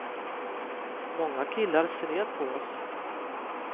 Många killar ser ner på oss.